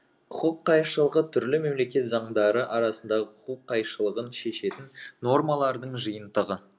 құқық қайшылығы түрлі мемлекет заңдары арасындағы құқық қайшылығын шешетін нормалардын жиынтығы